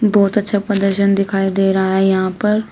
बहोत अच्छा प्रदर्शन दिखाई दे रहा है यहां पर--